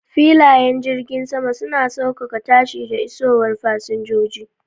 Filayen jiragen sama suna saukaka tashi da isowar fasinjoji